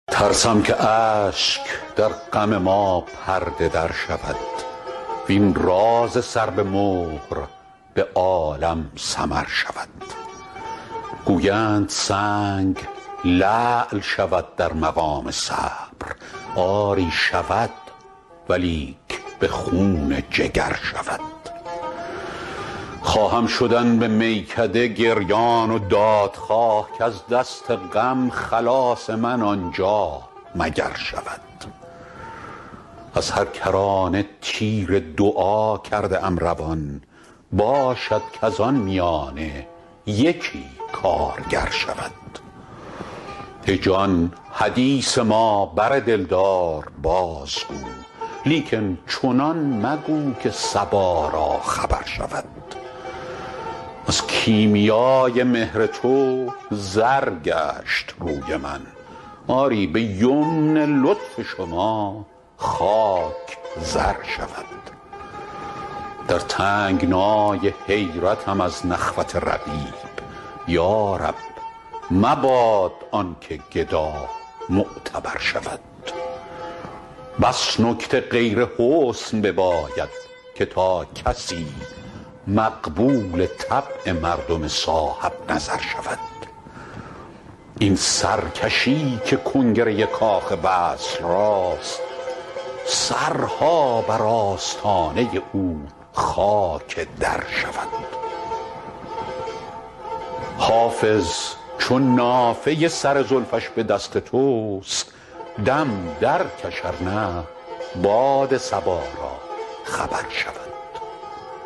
ترسم که اشک در غم ما پرده در شود وین راز سر به مهر به عالم سمر شود گویند سنگ لعل شود در مقام صبر آری شود ولیک به خون جگر شود خواهم شدن به میکده گریان و دادخواه کز دست غم خلاص من آنجا مگر شود از هر کرانه تیر دعا کرده ام روان باشد کز آن میانه یکی کارگر شود ای جان حدیث ما بر دلدار بازگو لیکن چنان مگو که صبا را خبر شود از کیمیای مهر تو زر گشت روی من آری به یمن لطف شما خاک زر شود در تنگنای حیرتم از نخوت رقیب یا رب مباد آن که گدا معتبر شود بس نکته غیر حسن بباید که تا کسی مقبول طبع مردم صاحب نظر شود این سرکشی که کنگره کاخ وصل راست سرها بر آستانه او خاک در شود حافظ چو نافه سر زلفش به دست توست دم درکش ار نه باد صبا را خبر شود